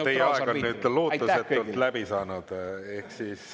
Teie aeg on nüüd lootusetult läbi saanud.